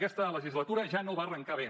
aquesta legislatura ja no va arrencar bé